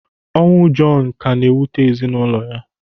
Ọnwụ Jọnu ka na-ewute ezinaụlọ ya.